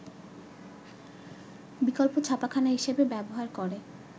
বিকল্প ছাপাখানা হিসেবে ব্যবহার করে